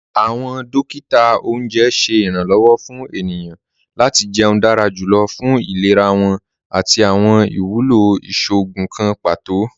Awọn dòkítà ọ̀unjẹ ṣẹ̀ iranlọ́wọ̀ fún ènìyàn lati jẹ̀ún dára jùlọ̀ fún ìlẹ̀rà wọn àti awọn iwúlọ́ ìṣòogùn kàn pátò.